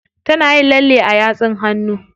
Tana yin lalle a yatsun hannu.